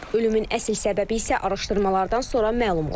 Ölümün əsl səbəbi isə araşdırmalardan sonra məlum olacaq.